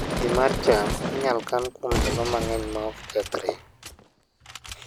Kodhi mar cham inyalo kan kuom ndalo mang'eny maok kethre